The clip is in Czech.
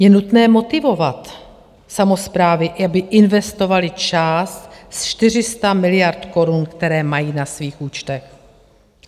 Je nutné motivovat samosprávy, aby investovaly část ze 400 miliard korun, které mají na svých účtech.